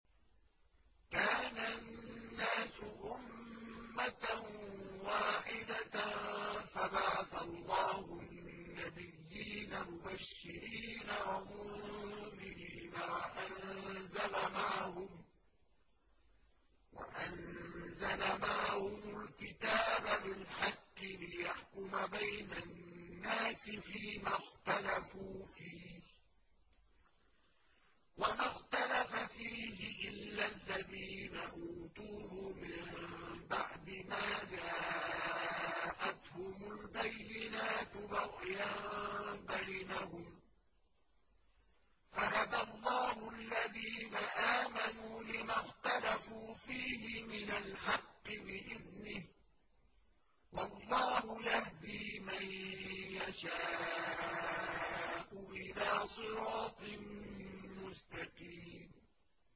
كَانَ النَّاسُ أُمَّةً وَاحِدَةً فَبَعَثَ اللَّهُ النَّبِيِّينَ مُبَشِّرِينَ وَمُنذِرِينَ وَأَنزَلَ مَعَهُمُ الْكِتَابَ بِالْحَقِّ لِيَحْكُمَ بَيْنَ النَّاسِ فِيمَا اخْتَلَفُوا فِيهِ ۚ وَمَا اخْتَلَفَ فِيهِ إِلَّا الَّذِينَ أُوتُوهُ مِن بَعْدِ مَا جَاءَتْهُمُ الْبَيِّنَاتُ بَغْيًا بَيْنَهُمْ ۖ فَهَدَى اللَّهُ الَّذِينَ آمَنُوا لِمَا اخْتَلَفُوا فِيهِ مِنَ الْحَقِّ بِإِذْنِهِ ۗ وَاللَّهُ يَهْدِي مَن يَشَاءُ إِلَىٰ صِرَاطٍ مُّسْتَقِيمٍ